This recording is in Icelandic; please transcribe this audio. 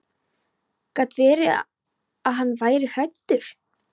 Gat verið að hann væri hræddur?